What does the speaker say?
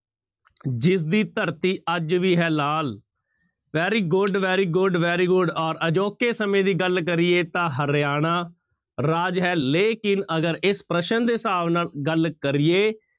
ਜਿਸਦੀ ਧਰਤੀ ਅੱਜ ਵੀ ਹੈ ਲਾਲ very good, very good, very good ਔਰ ਅਜੋਕੇ ਸਮੇਂ ਦੀ ਗੱਲ ਕਰੀਏ ਤਾਂ ਹਰਿਆਣਾ ਰਾਜ ਹੈ ਲੇਕਿੰਨ ਅਗਰ ਇਸ ਪ੍ਰਸ਼ਨ ਦੇ ਹਿਸਾਬ ਨਾਲ ਗੱਲ ਕਰੀਏ